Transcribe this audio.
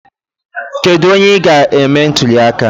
Kedu onye ị ga-eme ntuli aka?